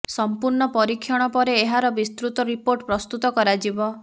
ସମ୍ପ୍ରୂ୍ଣ୍ଣ ପରୀକ୍ଷଣ ପରେ ଏହାର ବିସ୍ତୃତ ରିପୋର୍ଟ ପ୍ରସ୍ତୁତ କରାଯିବ